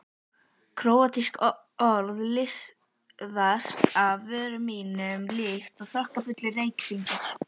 Króatísk orð liðast af vörum mínum líkt og þokkafullir reykhringir.